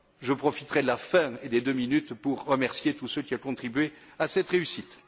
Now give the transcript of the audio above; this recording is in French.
Je profiterai de la fin et des deux minutes pour remercier tous ceux qui ont contribué à cette réussite.